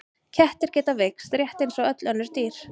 Kettir geta veikst rétt eins og öll önnur dýr.